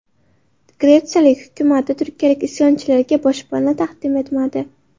Gretsiya hukumati turkiyalik isyonchilarga boshpana taqdim etmadi.